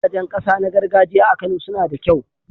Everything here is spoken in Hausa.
Gidajen ƙasa na gargajiya a Kano suna da kyau.